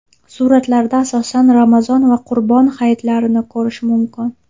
Suratlarda asosan Ramazon va Qurbon hayitlarini ko‘rish mumkin.